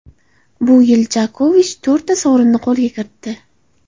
Bu yil Jokovich to‘rtta sovrinni qo‘lga kiritdi.